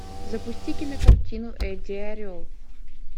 запусти кинокартину эдди орел